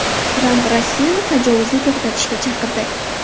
Tramp Rossiyani tajovuzni to‘xtatishga chaqirdi.